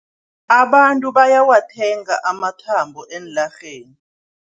Abantu bayawathenga amathambo eenlarheni.